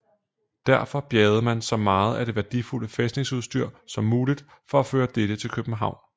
Derfor bjergede man så meget at det værdifulde fæstningsudstyr som muligt for at føre dette til København